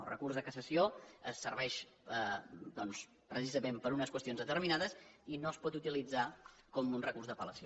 el recurs de cassació serveix doncs precisament per a unes qüestions determinades i no es pot utilitzar com un recurs d’apellació